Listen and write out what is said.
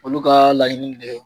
Olu ka laɲini de